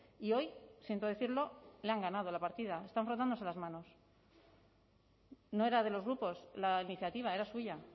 y hoy siento decirlo le han ganado la partida están frotándose las manos no era de los grupos la iniciativa era suya